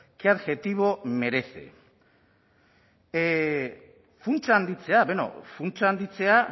qué adjetivo merece funtsa handitzea beno funtsa handitzea